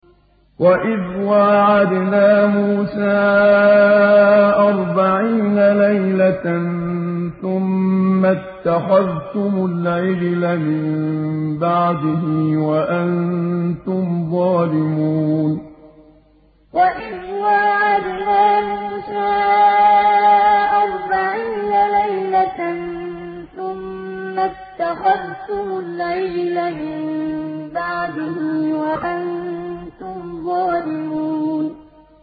وَإِذْ وَاعَدْنَا مُوسَىٰ أَرْبَعِينَ لَيْلَةً ثُمَّ اتَّخَذْتُمُ الْعِجْلَ مِن بَعْدِهِ وَأَنتُمْ ظَالِمُونَ وَإِذْ وَاعَدْنَا مُوسَىٰ أَرْبَعِينَ لَيْلَةً ثُمَّ اتَّخَذْتُمُ الْعِجْلَ مِن بَعْدِهِ وَأَنتُمْ ظَالِمُونَ